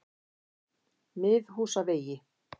Miðhúsavegi